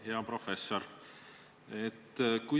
Hea professor!